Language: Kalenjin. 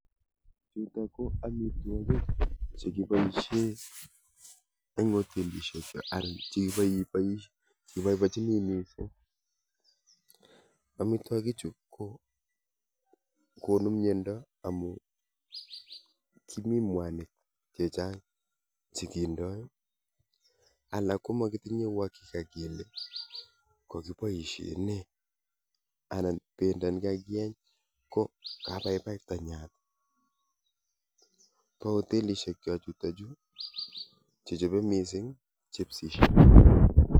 Chutok ko amitwokik chekiboisie eng hotelisiek che arin che iboibochini mising amitwokichu kokonu miando amu mi mwanik chechang chekindoi alak komakitinye uhakika kele kakiboisie nee anan bendo ne kakieny kabaibai tanyatok bo hotelisiek chok chutokchu chechobe mising chipsisiek.